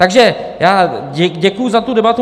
Takže já děkuju za tu debatu.